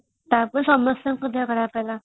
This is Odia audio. ତାପରେ ସମସ୍ତଙ୍କ ଦେହ ଖରାପ ହେଲା |